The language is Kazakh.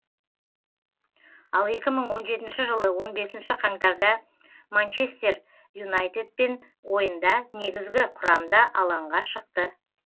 ал екі мың он жетінші жылы он бесінші қаңтарда манчестер юнайтедпен ойында негізгі құрамда алаңға шықты